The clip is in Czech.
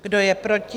Kdo je proti?